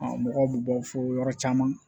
mɔgɔw bɛ bɔ fo yɔrɔ caman